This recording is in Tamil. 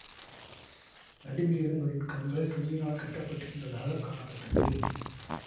நடுவில் இருந்தவரின் கண்கள் துணியினால் கட்டப்பட்டிருந்ததாகக் காணப்பட்டது